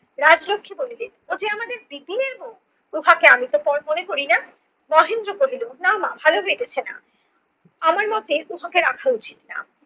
রাজলক্ষী বলিলে ও যে আমাদের বিপিনের বউ উহাকে আমিতো পর মনে করি না। মহেন্দ্র বলিল না মা ভালো হইতেছে না। আমার মতে উহাকে রাখা উচিত না।